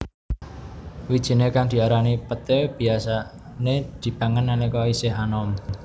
Wijiné kang diarani peté biyasané dipangan nalika isih anom